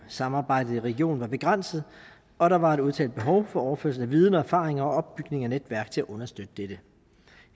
samarbejdet i regionen var begrænset og der var et udtalt behov for overførsel af viden og erfaring og opbygning af netværk til at understøtte dette